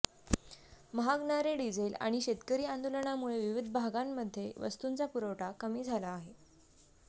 महागणारे diesel आणि शेतकरी आंदोलनामुळे विविध भागांमध्ये वस्तूंचा पुरवठा कमी झाला आहे